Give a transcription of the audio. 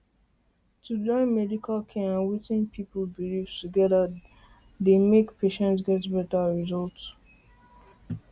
to join medical care and wetin people believe together dey together dey make patients get better results